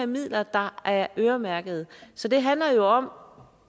midler der er øremærkede så det handler jo om